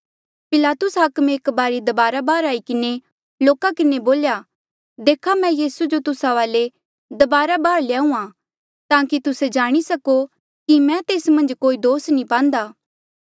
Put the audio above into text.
पिलातुस हाकमे एक बारी दबारा बाहर आई किन्हें लोका किन्हें बोल्या देखा मैं यीसू जो तुस्सा वाले दबारा बाहर ल्याहुंआं ताकि तुस्से जाणी सको कि मैं तेस मन्झ कोई दोस नी पांदा